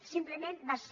simplement va ser